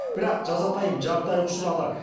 бірақ жазатайым жағдайға ұшырады